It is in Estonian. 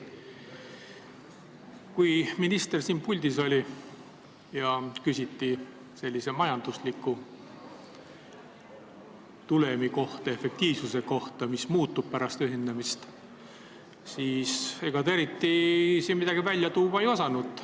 Kui minister siin puldis oli ja küsiti majandusliku tulemi, efektiivsuse kohta, et mis muutub pärast ühendamist, siis ega ta eriti midagi välja tuua ei osanud.